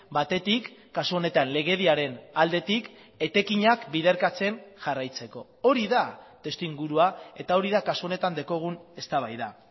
batetik kasu honetan legediaren aldetik etekinak biderkatzen jarraitzeko hori da testuingurua eta hori da kasu honetan daukagun eztabaida